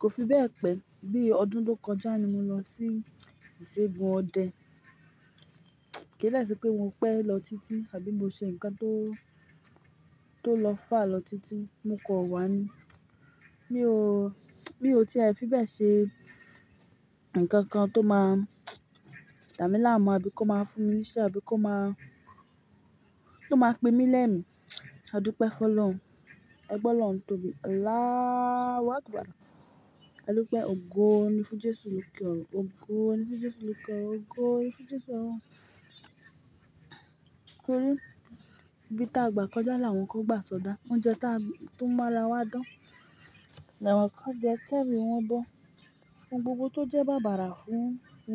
Kò fi bẹ́ẹ̀ pẹ́, bí ọdún tó kọjá ni mo lọ sí ìṣègùn ọdẹ. Kí dẹ̀ ṣe pé mo pẹ́ lọ títí àbí mo ṣe nǹkan tó, tó lọ fà á lọ títí? Mo kọ̀ wá ni. Ni ó, ni ó ti a fi bẹ́ẹ̀ ṣe, ǹkan kan tó máa dà mí láàmú àbí kó máa fún mi iṣẹ́, àbí kó máa, tó máa pín mí lẹ́mi. Adúpẹ́ fọ́ lọ́run, ẹ gbọ́ lọ́run tóbi. Allahu Akbar. Adupẹ́ ogó ní fún Jésù ló kí ọrùn. Ogó, ní fún Jésù ló kí ọrùn, ogó, ní fún Jésù ló kí ọrùn. Ibí táa gbà kọjá, làwọn kàn gbà sọdá. Oúnjẹ táa tú mọ́ làwọn dán, làwọn kò jẹ tẹ́mi wọ́n bọ́. Ohun gbogbo tó jẹ́ bàbàrà fún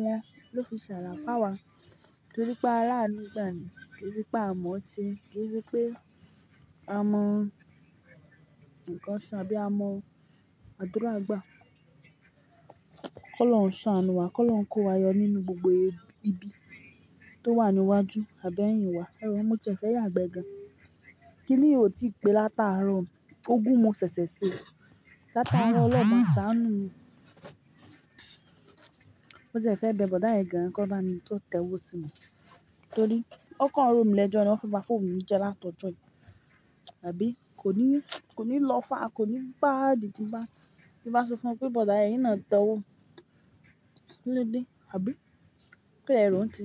wọn, ló fi ṣàrà fún awa. Torí pé a rí àánú gbà ní, kì í ṣe pé a mọ̀ ṣe, kì í ṣe pé a mọ nǹkan ṣe àbí a mọ àdúrà gbà. Kọ́ lọ́run ṣàánù wa, kọ́ lọ́run kó wa yọ nínú gbogbo ibi tó wà níwájú àbí ẹ̀yìn wa. Ẹ wò mú tí ẹ fẹ́ yàgbẹ́ gan. Kí ni o ti pé látàárọ̀? Ó gún mo ṣẹ̀ṣẹ̀ ṣe. Látàárọ̀ Ọlọ́run máa ṣàánù mi. Mo ti e fẹ́ bẹ bọ̀oda yìí gán kọ́ wa mi tó tẹ́wọ́ sí mi. Torí ọ́ kàn ro mi lẹ́jọ́ ni wọn fẹ́ bá fóònù mi jẹ́ látọ̀jọ́ yìí. Àbí kò ní, kò ní lọ́ faà, kò ní baàdì tí n bá, tí n bá sọ fún wọn pé bọ̀da ẹ̀yin náà ẹ tẹ́ wọ́. Kí ló dé, àbí kí le ro n tiyín?